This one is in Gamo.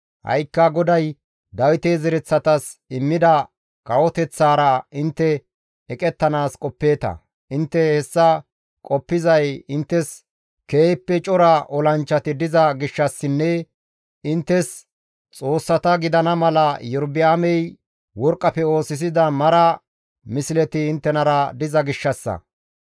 «Ha7ikka GODAY Dawite zereththatas immida kawoteththaara intte eqettanaas qoppeeta; intte hessa qoppizay inttes keehippe cora olanchchati diza gishshassinne inttes xoossata gidana mala Iyorba7aamey worqqafe oosisida mara misleti inttenara diza gishshassa.